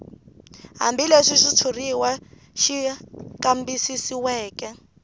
hambileswi xitshuriwa xi kambisisiweke